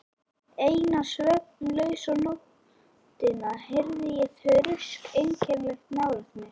Eina svefnlausa nóttina heyrði ég þrusk einkennilega nálægt mér.